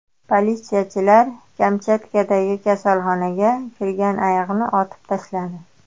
Politsiyachilar Kamchatkadagi kasalxonaga kirgan ayiqni otib tashladi.